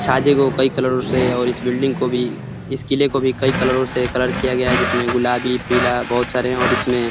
छाजे को कई कलरो से और इस बिल्डिंग को भी इस किले को भी कई कलरो से कलर किया गया है जिसमे गुलाबी पीला बहुत सारे हैं और इसमें --